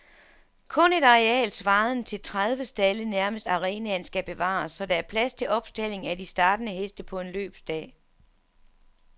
Kun et areal svarende til tredive stalde nærmest arenaen skal bevares, så der er plads til opstaldning af de startende heste på en løbsdag.